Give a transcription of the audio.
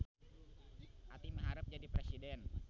Aty miharep jadi presiden